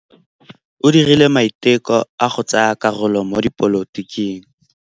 O dirile maitekô a go tsaya karolo mo dipolotiking.